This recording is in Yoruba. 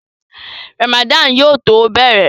Ràmàdánù yóò tó bẹ̀rẹ̀